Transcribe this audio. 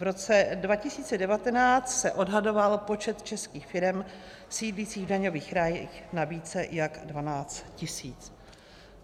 V roce 2019 se odhadoval počet českých firem sídlících v daňových rájích na více jak 12 tisíc.